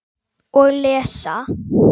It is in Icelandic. Og lesa.